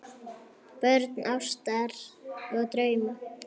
Börn ástar og drauma